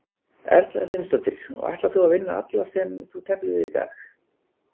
Erla Hlynsdóttir: Og ætlar þú að vinna alla sem þú teflir við í dag?